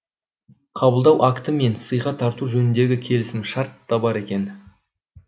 қабылдау акті мен сыйға тарту жөніндегі келісімшарт та бар екен